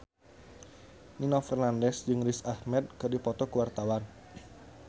Nino Fernandez jeung Riz Ahmed keur dipoto ku wartawan